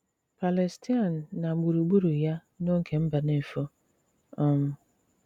Pàlèstàin na gbùrùgbùrụ̀ ya n’òge Mbànéfò. um